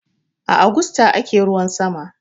Agusta ake ruwan sama.